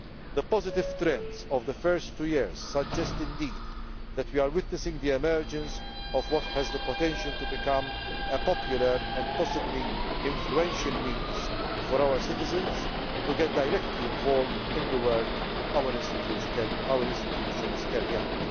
The positive trends of the first two years clearly suggest that we are witnessing the emergence of what has the potential to become a popular and possibly influential means for our citizens to get directly involved in the work that our institutions carry out.